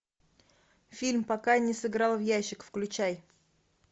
фильм пока не сыграл в ящик включай